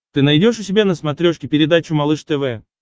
ты найдешь у себя на смотрешке передачу малыш тв